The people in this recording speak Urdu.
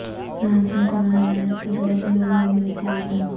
فرانس میں کورونا وائرس کے سبب لوو میوزیم بند